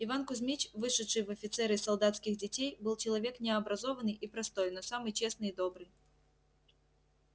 иван кузьмич вышедший в офицеры из солдатских детей был человек необразованный и простой но самый честный и добрый